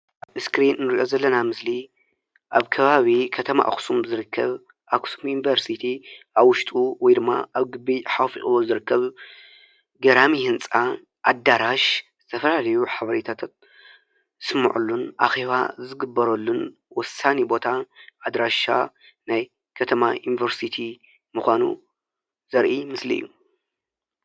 ኣብ እስክሪን እንሪኦ ዘለና ምስሊ ኣብ ከባቢ ከተማ ኣክሱም ዝርከብ ኣከሱም ዩኒቨርሲቲ ኣብ ዉሽጡ ወ ይ ድማ ኣብ ግቢ ሓፊቑዎ ዝርከብ ገራሚ ህንፃ ኣዳራሽ ዝተፈላለዩ ሓበሬታታት ዝስምዑሉን ኣኬባ ዝግበረሉን ወሳኒ ቦታ ኣድራሻ ናይ ከተማ ዩኒቨርሲቲ ምዃኑ ዘርኢ ምስሊ እዩ፡፡